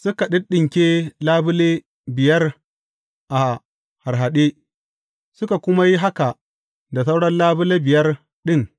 Suka ɗinɗinke labule biyar a harhaɗe, suka kuma yi haka da sauran labule biyar ɗin.